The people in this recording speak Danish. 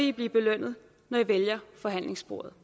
i blive belønnet når i vælger forhandlingsbordet